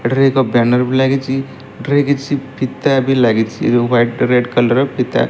ଏଠାରେ ଏକ ବ୍ୟାନର ବି ଲାଗିଚି ଏଠାରେ କିଛି ଫିତା ବି ଲାଗିଛି ଏ ଯୋଉ ହ୍ବାଇଟ ରେଡ୍ କଲର ର ଫିତା।